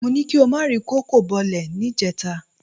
Mó ní kí o má ri kòkó bọlẹ̀ níjẹta